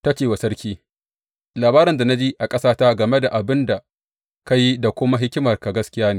Ta ce wa sarki, Labarin da na ji a ƙasata game da abin da ka yi da kuma hikimarka gaskiya ne.